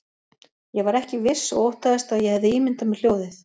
Ég var ekki viss og óttaðist að ég hefði ímyndað mér hljóðið.